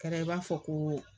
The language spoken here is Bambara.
Kɛrɛ i b'a fɔ ko